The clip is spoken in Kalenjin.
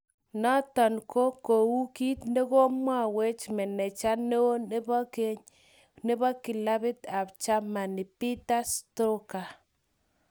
Noton ko kou kit negomwawech maneja neo nepo keny nepo kilapit ap grmany Peter stogger.